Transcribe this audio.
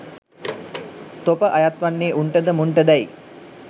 තොප අයත් වන්නේ උන්ටද මුන්ටදැයි